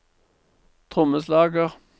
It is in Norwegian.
trommeslager